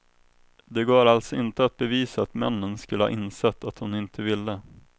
Det går alltså inte att bevisa att männen skulle ha insett att hon inte ville.